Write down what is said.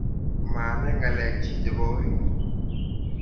maanai ng'alekyich chebo orit